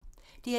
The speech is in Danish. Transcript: DR1